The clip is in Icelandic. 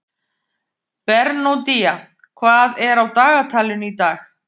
Bernódía, hvað er á dagatalinu í dag?